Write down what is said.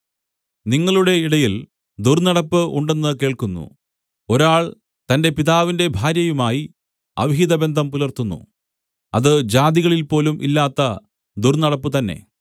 നിങ്ങളുടെ ഇടയിൽ ദുർന്നടപ്പ് ഉണ്ടെന്ന് കേൾക്കുന്നു ഒരാൾ തന്റെ പിതാവിന്റെ ഭാര്യയുമായി അവിഹിതബന്ധം പുലർത്തുന്നു അത് ജാതികളിൽപോലും ഇല്ലാത്ത ദുർന്നടപ്പ് തന്നെ